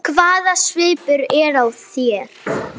Hvaða svipur er á þér!